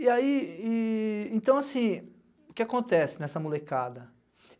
E aí, e então, assim, o que acontece nessa molecada?